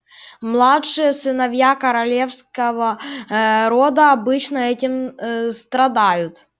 младшие сыновья королевского ээ рода обычно этим ээ страдают